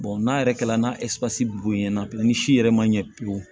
n'a yɛrɛ kɛla n'a boyanna bi ni si yɛrɛ ma ɲɛ pewu